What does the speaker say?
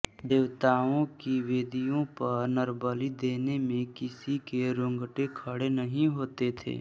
देवताओं की वेदियों पर नरबलि देने में किसी के रोंगटे खड़े नहीं होते थे